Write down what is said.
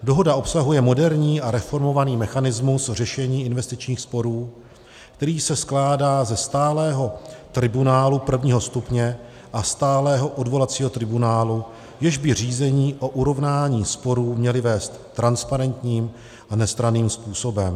Dohoda obsahuje moderní a reformovaný mechanismus řešení investičních sporů, který se skládá ze stálého tribunálu prvního stupně a stálého odvolacího tribunálu, jež by řízení o urovnání sporů měly vést transparentním a nestranným způsobem.